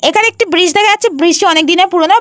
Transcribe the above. এইখানে একটি ব্রিজ দেখা যাচ্ছে। ব্রিজ -টা অনেক দিনের পুরানো।